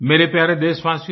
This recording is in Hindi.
मेरे प्यारे देशवासियो